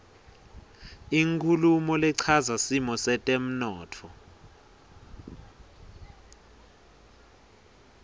inkhulumo lechaza simo setemntfo